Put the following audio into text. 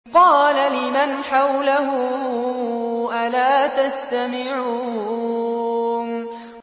قَالَ لِمَنْ حَوْلَهُ أَلَا تَسْتَمِعُونَ